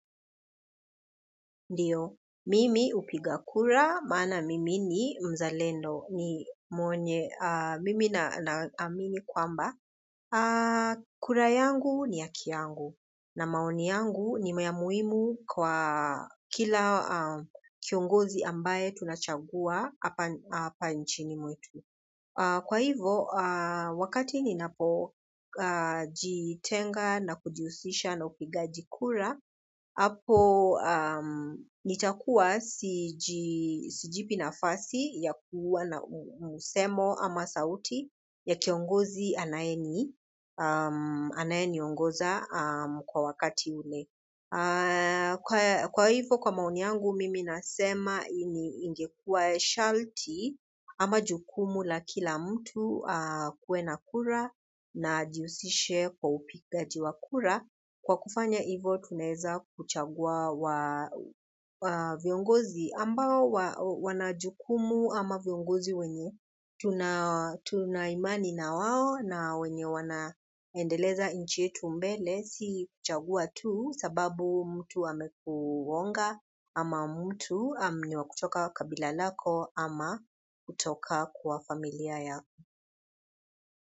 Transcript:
Ndiyo, mimi hupiga kura, maana mimi ni mzalendo ni mwenye, mimi naamini kwamba. Kura yangu ni haki yangu, na maoni yangu ni ya muhimu kwa kila kiongozi ambaye tunachagua hapa nchini mwetu. Kwa hivo, wakati ninapo jitenga na kujihusisha na upigaji kura, hapo nitakuwa sijipi nafasi ya kuwa na msemo ama sauti ya kiongozi anaye ni anaye ni ongoza kwa wakati ule. Kwa hivyo kwa maoni yangu mimi nasema hii ingekua sharti ama jukumu la kila mtu akuwe na kura na ajihusishe kwa upigaji wa kura kwa kufanya hivyo tunaweza kuchagua wa viongozi ambao wana jukumu ama viongozi wenye tunaimani na wao na wenye wanaendeleza nchi yetu mbele si kuchagua tu sababu mtu amekuhonga ama mtu ni wa kutoka kabila lako ama kutoka kwa familia yako.